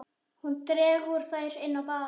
Hún dregur þær inn á bað.